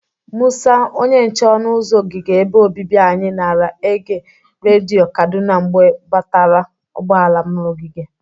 Mụsa, onye nche ọnụ ụzọ ogige ebe obibi anyị, nara ege redio Kaduna mgbe gbabatara ụgbọala m n'ogige.